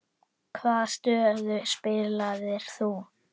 Hvaða stöðu spilaðir þú?